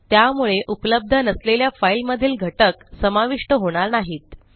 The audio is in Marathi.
त्यामुळे उपलब्ध नसलेल्या फाईलमधील घटक समाविष्ट होणार नाहीत